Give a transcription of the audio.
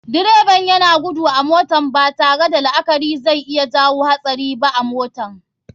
Direban yana gudu a motan, batare da la akari zai iya jawo hatsari ba a motar.